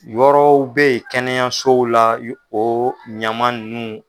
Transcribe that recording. Yɔrɔw be yen kɛnɛyasow la ,o ɲaman nunnu